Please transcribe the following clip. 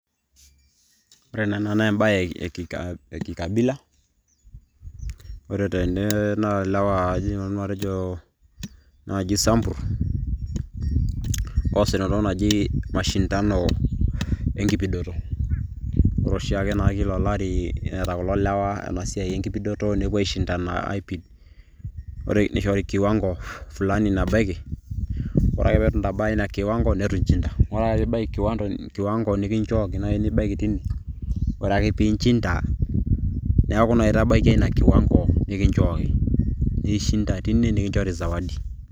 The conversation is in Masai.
ore ena naa ebae e kikabila, ore tene, naa ilewa aidim nanu atejo, naaji isambur, oosita entoki naji mashindano, enkipidoto, ore oshiake, naa kila olari neeta kulo lewa ena siai enkipidoto, nepuo aishindana aaipid, neishori kiwango fulani nabaiki. ore ake pee eitu intabaya ina kiwango neitu inchinda .ore ake pee ibaiki kiwango naai nikichooki nibaiki tine, ore ake pee inchinda, neeku naa itabaikia ina kiwango nikinchooki, naa inchindateine nikinchori sawadi.